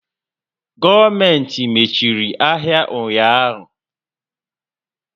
Gọọmentị mechiri ahịa ụnyaahụ.